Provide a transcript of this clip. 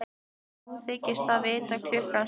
Og nú þykist það vita hvað klukkan slær.